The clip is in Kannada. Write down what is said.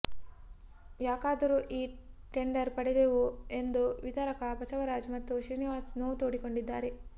ಯಾಕಾದರೂ ಈ ಟೆಂಡರ್ ಪಡೆದೆವೋ ಎಂದು ವಿತರಕ ಬಸವರಾಜ್ ಮತ್ತು ಶ್ರೀನಿವಾಸ್ ನೋವು ತೋಡಿಕೊಂಡಿದ್ದಾರೆ